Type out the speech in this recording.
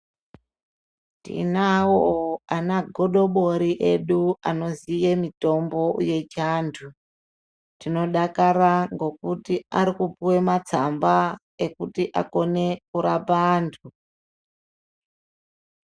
Tinavo ana godobori egu anoziye mitombo yechiantu. Tinodakara ngekuti arikupuve matsamba ekuti akone kurapa antu.